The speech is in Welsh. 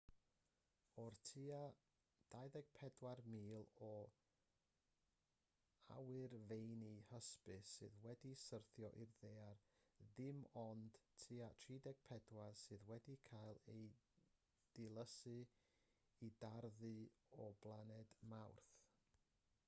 o'r tua 24,000 o awyrfeini hysbys sydd wedi syrthio i'r ddaear dim ond tua 34 sydd wedi cael eu dilysu i darddu o blaned mawrth